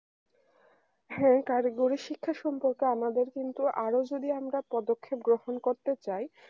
হ্যাঁ কারিগরি শিক্ষা সম্পর্কে আমাদের কিন্তু আরো যদি আমরা পদক্ষেপ গ্রহণ করতে চাই